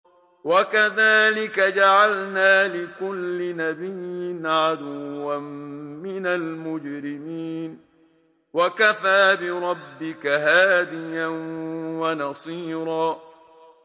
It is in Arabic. وَكَذَٰلِكَ جَعَلْنَا لِكُلِّ نَبِيٍّ عَدُوًّا مِّنَ الْمُجْرِمِينَ ۗ وَكَفَىٰ بِرَبِّكَ هَادِيًا وَنَصِيرًا